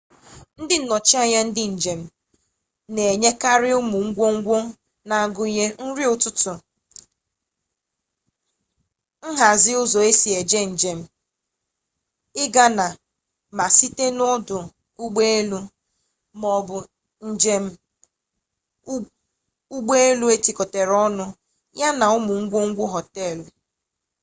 ndị nnọchi anya ndị njem na-enyekarị ụmụ ngwungwu na-agụnye nri ụtụtụ nhazi ụzọ esi eje njem ịga na/site na ọdụ ụgbọelu ma ọ bụ njem ụgbọelu etikọrọ ọnụ ya na ụmụ ngwungwu họteelụ